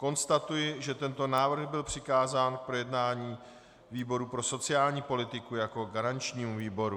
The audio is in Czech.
Konstatuji, že tento návrh byl přikázán k projednání výboru pro sociální politiku jako garančnímu výboru.